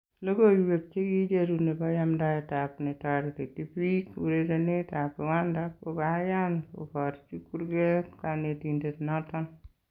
Lokoyweek chekicheruu nebo yamdaetab netoretii biik urerenetab Rwanda kokayaan kebarchi kurkeet kanetindet noton.